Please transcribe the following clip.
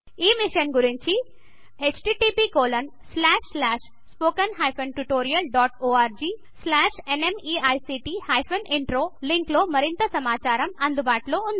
ఈ మిషన్ గురించి httpspoken tutorialorgNME ict intro link లో మరింత సమాచారము అందుబాటులో ఉంది